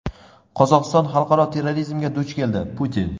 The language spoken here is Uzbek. Qozog‘iston xalqaro terrorizmga duch keldi – Putin.